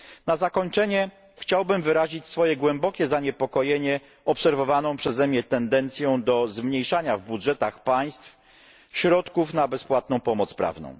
Na zakończenie chciałbym wyrazić swoje głębokie zaniepokojenie obserwowaną przeze mnie tendencją do zmniejszania w budżetach państw środków na bezpłatną pomoc prawną.